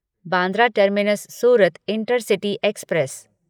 Bandra terminus Surat intercity express